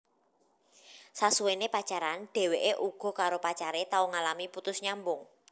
Sasuwené pacaran dheweké uga karo pacare tau ngalami putus nyambung